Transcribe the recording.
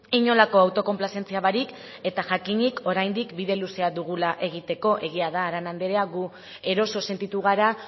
inolako autokonplazentzia barik eta jakinik oraindik bide luzea dugula egiteko egia da arana andrea gu eroso sentitu gara